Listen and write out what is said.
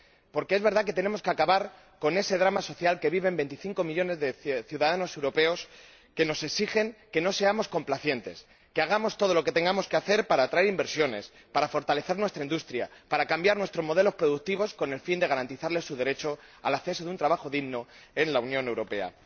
Porque es verdad que tenemos que acabar con ese drama social que viven veinticinco millones de ciudadanos europeos que nos exigen que no seamos complacientes, que hagamos todo lo que tengamos que hacer para atraer inversiones, para fortalecer nuestra industria y para cambiar nuestros modelos productivos, con el fin de garantizarles su derecho al acceso a un trabajo digno en la Unión Europea.